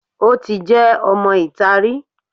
Ó ti jẹ́ ọmọ ìta rí